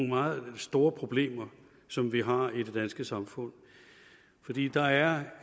meget store problemer som vi har i det danske samfund fordi der er